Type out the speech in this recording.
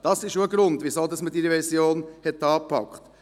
Das ist auch ein Grund, weshalb man diese Revision angepackt hat.